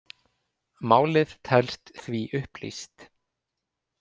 Málið telst því upplýst